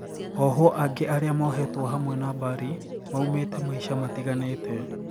Ohwo angi aria mohetwo hamwe na Bari maumite maisha matiganite